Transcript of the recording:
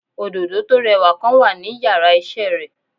Òdòdó tó rẹwà kan wà ní yàrá isé re